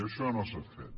i això no s’ha fet